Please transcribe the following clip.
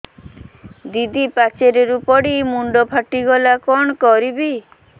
ଦିଦି ପାଚେରୀରୁ ପଡି ମୁଣ୍ଡ ଫାଟିଗଲା କଣ କରିବି